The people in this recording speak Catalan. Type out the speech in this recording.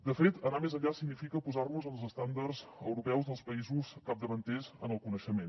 de fet anar més enllà significa posar nos en els estàndards europeus dels països capdavanters en el coneixement